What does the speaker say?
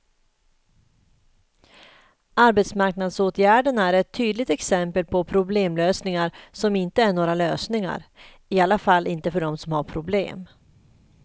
Arbetsmarknadsåtgärderna är ett tydligt exempel på problemlösningar som inte är några lösningar, i alla fall inte för dem som har problemen.